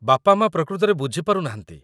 ବାପା ମାଆ ପ୍ରକୃତରେ ବୁଝିପାରୁନାହାନ୍ତି ।